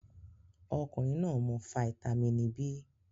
Ọkunrin naa mu fáítámínì B